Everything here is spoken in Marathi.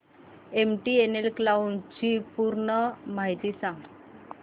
एमटीएनएल क्लाउड ची पूर्ण माहिती सांग